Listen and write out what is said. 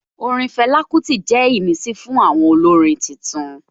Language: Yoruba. Orin Fela Kuti jẹ́ ìmísí fún àwọn olórin tuntun